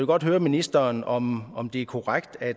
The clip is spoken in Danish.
godt høre ministeren om om det er korrekt at